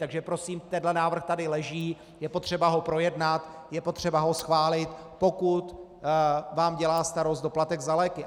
Takže prosím, tenhle návrh tady leží, je potřeba ho projednat, je potřeba ho schválit, pokud vám dělá starost doplatek za léky.